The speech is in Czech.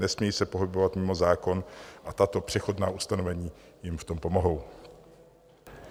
Nesmějí se pohybovat mimo zákon a tato přechodná ustanovení jim v tom pomohou.